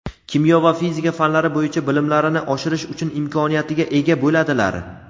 kimyo va fizika fanlari bo‘yicha bilimlarini oshirish uchun imkoniyatiga ega bo‘ladilar.